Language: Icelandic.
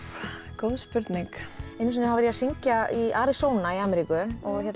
góð spurning einu sinni var ég að syngja í Arizona í Ameríku